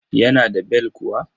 Yana da bel kuwa?